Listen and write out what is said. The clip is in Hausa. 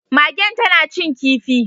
Magen tana cin kifi